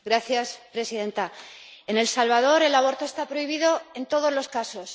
Señora presidenta, en El Salvador el aborto está prohibido en todos los casos.